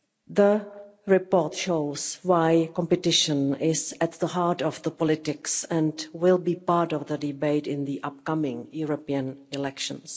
The report shows why competition is at the heart of politics and will be part of the debate in the upcoming European elections.